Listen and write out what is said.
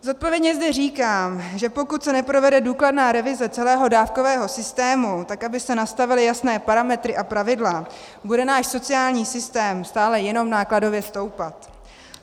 Zodpovědně zde říkám, že pokud se neprovede důkladná revize celého dávkového systému tak, aby se nastavily jasné parametry a pravidla, bude náš sociální systém stále jenom nákladově stoupat.